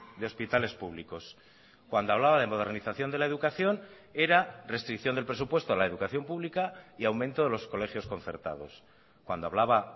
de hospitales públicos cuando hablaba de modernización de la educación era restricción del presupuesto a la educación pública y aumento de los colegios concertados cuando hablaba